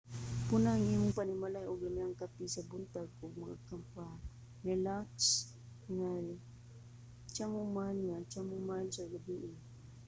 pun-a ang imong panimalay og lamiang kape sa buntag ug mga pamparelaks nga chamomile nga chamomile sa gabii